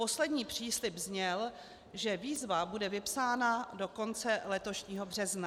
Poslední příslib zněl, že výzva bude vypsána do konce letošního března.